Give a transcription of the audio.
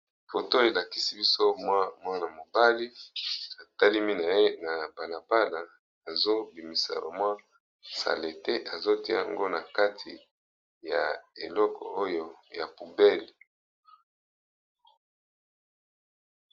Foto oyo elakisi biso mwa mwana mobali atelemi na ye na bala bala, azo bimisa ka mwa salite azo tia yango na kati ya eleko oyo ya poubelle.